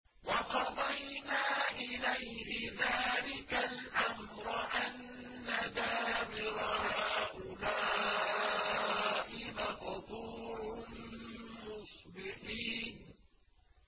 وَقَضَيْنَا إِلَيْهِ ذَٰلِكَ الْأَمْرَ أَنَّ دَابِرَ هَٰؤُلَاءِ مَقْطُوعٌ مُّصْبِحِينَ